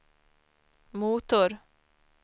motor